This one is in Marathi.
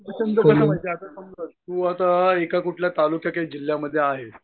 तू आता एका कुठल्या तालुक्याच्या जिल्ह्यामध्ये आहेस